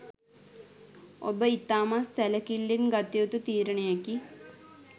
ඔබ ඉතාමත් සැලකිල්ලෙන් ගත යුතු තීරණයකි.